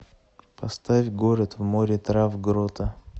поставь город в море трав грота